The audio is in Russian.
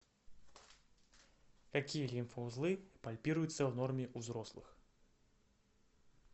какие лимфоузлы пальпируются в норме у взрослых